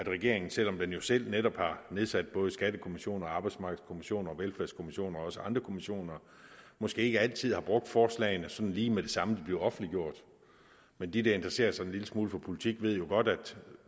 regeringen selv om den jo selv netop har nedsat både skattekommission arbejdsmarkedskommission og velfærdskommission og også andre kommissioner måske ikke altid har brugt forslagene sådan lige med det samme de blev offentliggjort men de der interesserer sig en lille smule for politik ved jo godt at